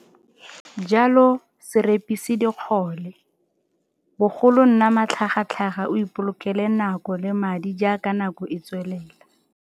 Jalo, se repise dikgole, bogolo nna matlhagatlhaga o ipolokele nako le madi jaaka nako e tswelela.